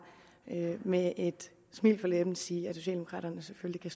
med et smil på læben sige at socialdemokraterne selvfølgelig